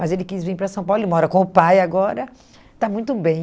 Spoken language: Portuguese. Mas ele quis vir para São Paulo, ele mora com o pai agora, está muito bem.